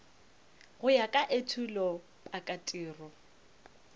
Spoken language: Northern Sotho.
go ya ka etulo pakatiro